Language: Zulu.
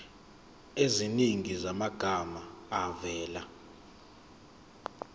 eziningi zamagama avela